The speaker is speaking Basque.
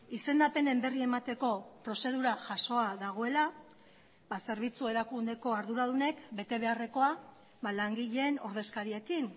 izendapenen berri emateko prozedura jasoa dagoela zerbitzu erakundeko arduradunek betebeharrekoa langileen ordezkariekin